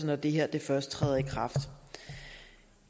når det her først træder i kraft